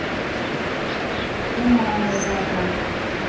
умами рядом